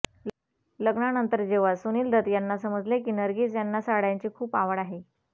लग्नानंतर जेव्हा सुनील दत्त यांना समजले की नरगिस यांना साड्यांची खूप आवड आहे